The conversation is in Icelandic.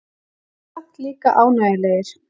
En samt líka ánægjulegir.